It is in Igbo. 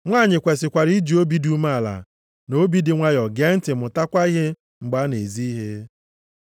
Nwanyị kwesikwara iji obi dị umeala na obi dị nwayọọ gee ntị mụtakwa ihe mgbe a na-ezi ihe.